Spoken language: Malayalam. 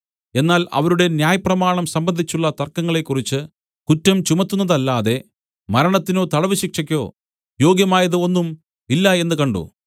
എന്നാൽ അവരുടെ ന്യായപ്രമാണം സംബന്ധിച്ചുള്ള തർക്കങ്ങളെക്കുറിച്ച് കുറ്റം ചുമത്തുന്നതല്ലാതെ മരണത്തിനോ തടവുശിക്ഷക്കോ യോഗ്യമായത് ഒന്നും ഇല്ല എന്ന് കണ്ട്